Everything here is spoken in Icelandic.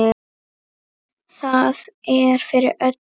Það er fyrir öllu.